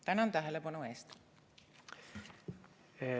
Tänan tähelepanu eest!